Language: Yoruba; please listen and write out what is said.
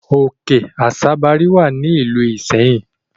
Òkè Àsabàrí wà ní ìlú Ìṣẹ́yìn.